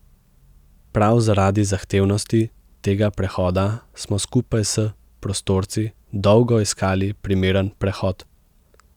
Prav zaradi zahtevnosti tega prehoda smo skupaj s prostorci dolgo iskali primeren prehod.